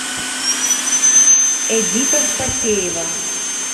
эдита спасеева